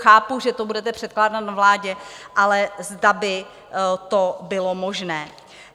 Chápu, že to budete předkládat na vládě, ale zda by to bylo možné.